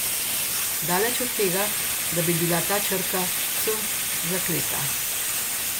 Daleč od tega, da bi bila ta črka C zakleta.